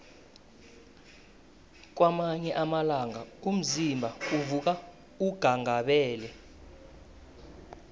kwamanye amalanga umzimba uvuka unghanghabele